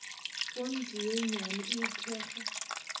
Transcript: fonte ye nnyane e thekga